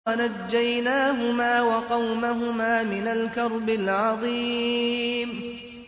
وَنَجَّيْنَاهُمَا وَقَوْمَهُمَا مِنَ الْكَرْبِ الْعَظِيمِ